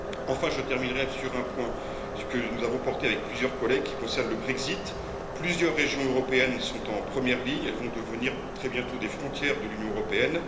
Enfin, troisièmement, un point que nous avons porté avec plusieurs collègues et qui concerne le Brexit plusieurs régions européennes sont en première ligne, elles vont devenir très bientôt des frontières de l'Union européenne.